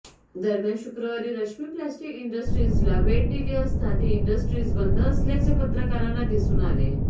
दरम्यान शुक्रवारी रश्मी प्लास्टिक इंडस्ट्रीजला भेट दिली असता ती इंडस्ट्रीज बंद असल्याचे पत्रकारांना दिसून आले